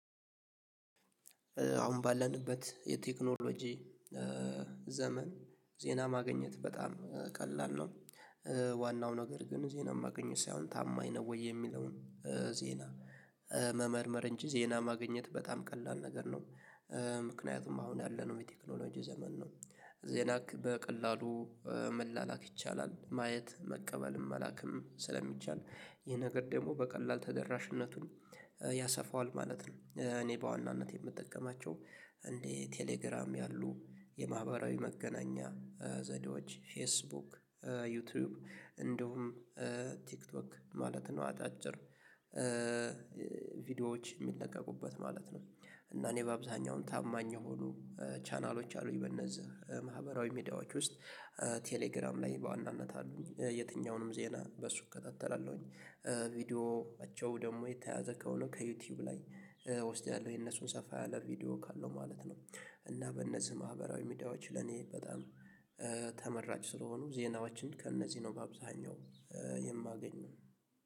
አሁን ባለንበት የቴክኖሎጂ ዘመን ዜና ማግኘት በጣም ቀላል ነው። ዋናው ነገር ግን ዜና ማግኘት ሳይሆን ታማኝ ነው ወይ የሚለውን ዜና? መመርመር እንጂ ዜና ማግኘት በጣም ቀላል ነገር ነው። ምክንያቱም አሁን ያለነው የቴክኖሎጂ ዘመን ነው። ዜና በቀላሉ መላላክ ይቻላል ማየት መቀበልም መላክም ስለሚቻል ይሄ ነገር ደግሞ በቀላል ተደራሽነቱን ያሰፋዋል ማለት ነው። እኔ በዋናነት የምጠቀማቸው እንዴ ቴሌግራም ያሉ የማህበራዊ መገናኛ ዘዴዎች ፌስቡክ ዩቲዩብ እንዲሁም ቲክቶክ ማለት ነው አጣጭር ቪዲዮዎች የሚለቀቁበት ማለት ነው። እና እኔ በአብዛኛው ታማኝ የሆኑ ቻናሎች አሉኝ በእነዚህ ማህበራዊ ሚዲያዎች ውስጥ። ቴሌግራም ላይ በዋናነት አሉኝ የትኛውንም ዜና በሱ እከታተላለሁኝ ቪዲዮአቸው ደግሞ የተያዘ ከሆነ ከዩቲዩብ ላይ እወስዳለሁ የነሱን ሰፋ ያለ ቪዲዮ ካለው ማለት ነው። እና በነዚህ ማህበራዊ ሚዲያዎች ለኔ በጣም ተመራጭ ስለሆኑ ዜናዎችን ከእነዚህ ነው በአብዛኛው የማገኘው